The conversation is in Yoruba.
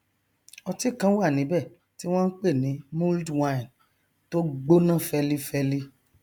ọtí kan wà níbẹ tí wọn npè ní mulled wine tó gbọnà fẹlifẹli